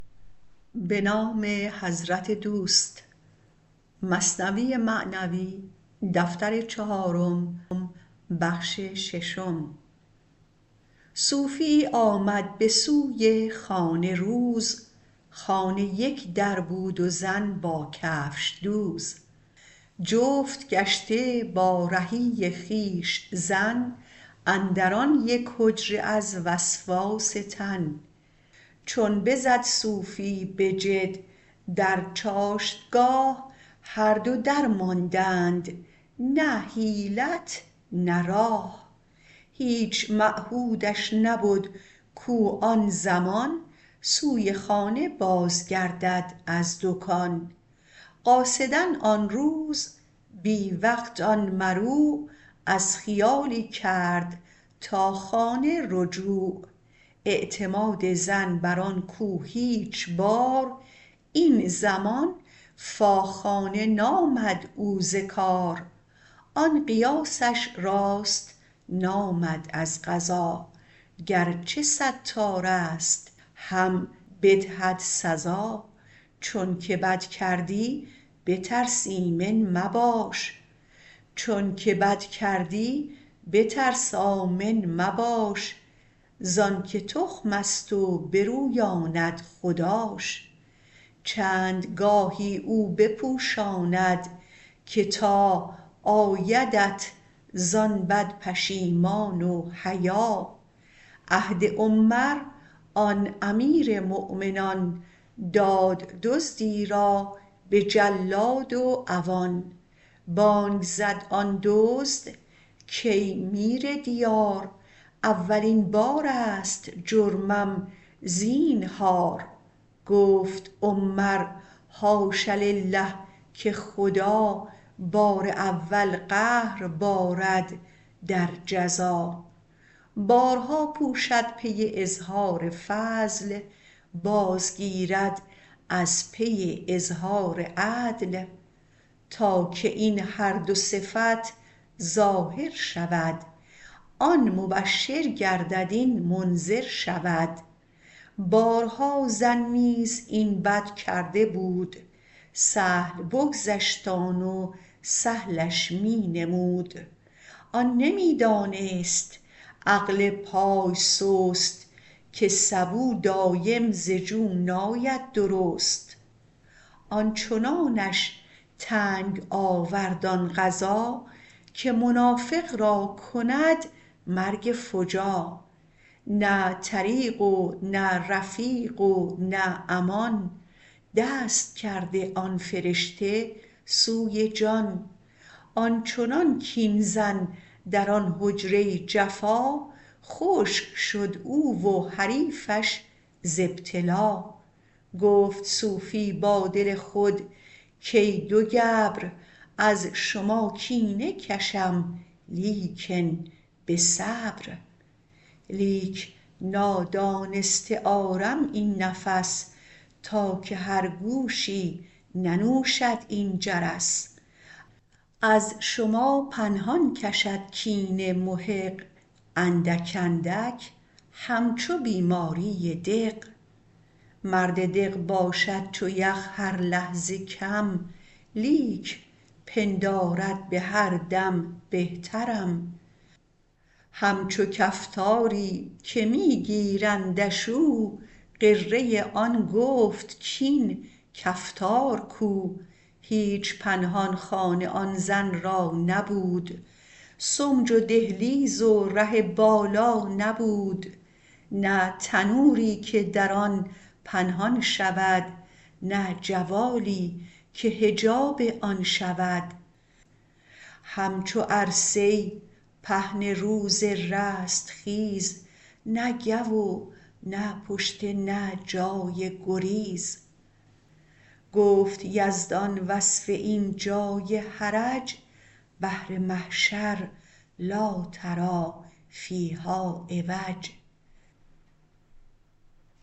صوفیی آمد به سوی خانه روز خانه یک در بود و زن با کفش دوز جفت گشته با رهی خویش زن اندر آن یک حجره از وسواس تن چون بزد صوفی به جد در چاشتگاه هر دو درماندند نه حیلت نه راه هیچ معهودش نبد کو آن زمان سوی خانه باز گردد از دکان قاصدا آن روز بی وقت آن مروع از خیالی کرد تا خانه رجوع اعتماد زن بر آن کو هیچ بار این زمان فا خانه نامد او ز کار آن قیاسش راست نامد از قضا گرچه ستارست هم بدهد سزا چونک بد کردی بترس آمن مباش زانک تخمست و برویاند خداش چند گاهی او بپوشاند که تا آیدت زان بد پشیمان و حیا عهد عمر آن امیر مؤمنان داد دزدی را به جلاد و عوان بانگ زد آن دزد کای میر دیار اولین بارست جرمم زینهار گفت عمر حاش لله که خدا بار اول قهر بارد در جزا بارها پوشد پی اظهار فضل باز گیرد از پی اظهار عدل تا که این هر دو صفت ظاهر شود آن مبشر گردد این منذر شود بارها زن نیز این بد کرده بود سهل بگذشت آن و سهلش می نمود آن نمی دانست عقل پای سست که سبو دایم ز جو ناید درست آنچنانش تنگ آورد آن قضا که منافق را کند مرگ فجا نه طریق و نه رفیق و نه امان دست کرده آن فرشته سوی جان آنچنان کین زن در آن حجره جفا خشک شد او و حریفش ز ابتلا گفت صوفی با دل خود کای دو گبر از شما کینه کشم لیکن به صبر لیک نادانسته آرم این نفس تا که هر گوشی ننوشد این جرس از شما پنهان کشد کینه محق اندک اندک هم چو بیماری دق مرد دق باشد چو یخ هر لحظه کم لیک پندارد بهر دم بهترم هم چو کفتاری که می گیرندش و او غره آن گفت کین کفتار کو هیچ پنهان خانه آن زن را نبود سمج و دهلیز و ره بالا نبود نه تنوری که در آن پنهان شود نه جوالی که حجاب آن شود هم چو عرصه پهن روز رستخیز نه گو و نه پشته نه جای گریز گفت یزدان وصف این جای حرج بهر محشر لا تری فیها عوج